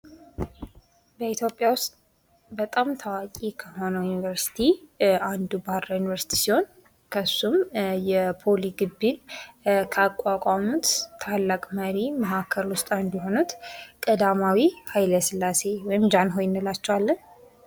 በኢትዮጵያ ውስጥ በጣም ታዋቂ ከሆነ ዩኒቨርሲቲ አንድ ባህርዳር ዩኒቨርሲቲ ሲሆን ከሱም የፖሊ ግቢ ካቋቋሙት ታላቅ መሪ አንዱ የሆኑት ቀዳማዊ ኃይለ ስላሴ ወይም ጃንሆይ እንላቸዋለን።